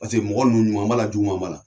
Paseke mɔgɔ ninnu ɲuman b'a la juguma b'a la.